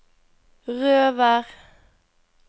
Røvær